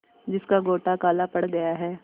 जिसका गोटा काला पड़ गया है